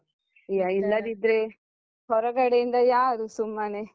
ಇಲ್ಲದಿದ್ರೆ ಹೊರಗಡೆಯಿಂದ ಯಾರು ಸುಮ್ಮನೆ.